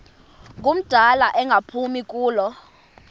ngumdala engaphumi kulo